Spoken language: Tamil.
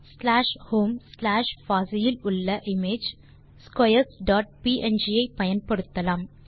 ஸ்லாஷ் ஹோம் ஸ்லாஷ் பாசி இல் உள்ள இமேஜ் ஸ்க்வேர்ஸ் டாட் ப்ங் ஐ பயன்படுத்தலாம்